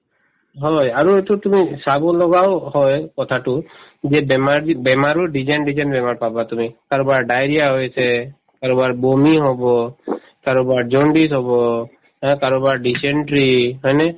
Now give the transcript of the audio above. হয়, আৰু এইটোত তুমি চাবলগাও হয় কথাতো যে বেমাৰ যি বেমাৰৰ different different বেমাৰ পাবা তুমি কাৰোবাৰ diarrhoea হৈছে ,কাৰোবাৰ বমি হব , কাৰোবাৰ jaundice হব আৰু কাৰোবাৰ dysentery হয় নে ?